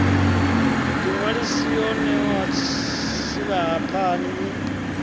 vhuḓiṅwalisi yo ṋewaho silahapani i